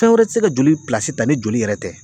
Fɛn wɛrɛ ti se ka joli pilasi ta ni joli yɛrɛ tɛ.